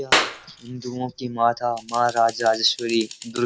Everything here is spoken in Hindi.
यह हिन्‍दूओं की माता माँ राजराजेश्‍वरी --